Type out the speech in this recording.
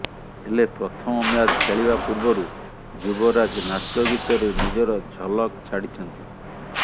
ହେଲେ ପ୍ରଥମ ମ୍ୟାଚ୍ ଖେଳିବା ପୂର୍ବରୁ ଯୁବରାଜ ନାଚଗୀତରେ ନିଜର ଝଲକ୍ ଛାଡ଼ିଚନ୍ତି